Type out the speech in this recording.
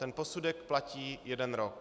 Ten posudek platí jeden rok.